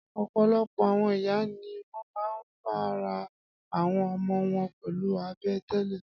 Ọ̀pọ̀lọpọ̀ àwọn ìyá ni wọ́n máa ń fáryb àwọn ọmọ wọn pẹlu abẹ́ tẹ́lẹ̀.